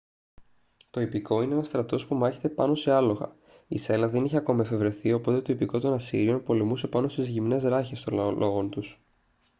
το ιππικό είναι ένας στρατός που μάχεται πάνω σε άλογα η σέλα δεν είχε ακόμη εφευρεθεί οπότε το ιππικό των ασσύριων πολεμούσε πάνω στις γυμνές ράχες των αλόγων τους